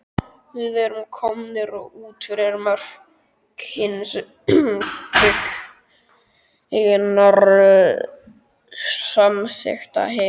Við erum komnir út fyrir mörk hins byggingarsamþykkta heims.